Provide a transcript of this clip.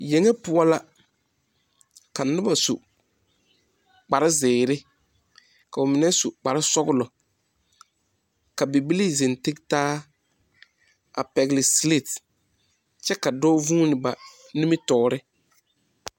Yɛŋe poʊ la. Ka noba su kpare ziire. Ka ba mene su kparo sɔglɔ. Ka bibilii zeŋ teg taa a pɛgle silat kyɛ ka doɔ vuune ba nimitoore